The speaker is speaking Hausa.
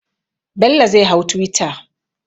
Bello zai hau twitter.